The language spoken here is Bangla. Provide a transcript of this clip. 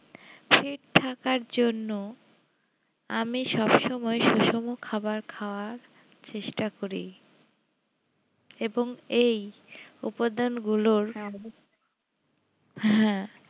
ঠিক থাকার জন্য আমি সব সময় সুষম খাবার খাওয়ার চেষ্টা করি এবং এই উপাদান গুলোর হ্যাঁ